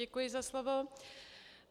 Děkuji za slovo.